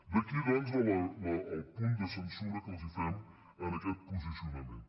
d’aquí doncs el punt de censura que els fem en aquest posicionament